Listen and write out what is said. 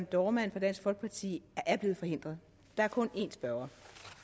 dohrmann fra dansk folkeparti er blevet forhindret der er kun en spørger